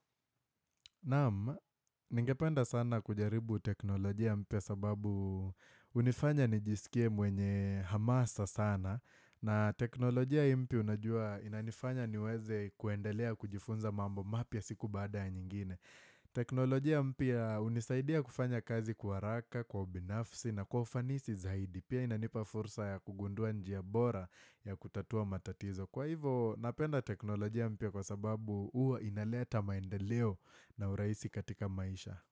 Naam, ningependa sana kujaribu teknolojia mpya sababu hunifanya nijisikie mwenye hamasa sana na teknolojia hii mpya unajua inanifanya niweze kuendelea kujifunza mambo mapya siku baada ya nyingine. Teknolojia mpya hunisaidia kufanya kazi kwa haraka, kwa ubinafsi na kwa ufanisi zaidi. Pia inanipa fursa ya kugundua njia bora ya kutatua matatizo. Kwa hivo napenda teknolojia mpya kwa sababu huwa inaleta maendeleo na urahisi katika maisha.